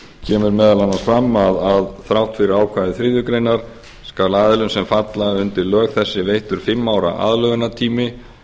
kemur meðal annars fram að þrátt fyrir ákvæði þriðju grein skal aðilum sem falla undir lög þessi veittur fimm ára aðlögunartími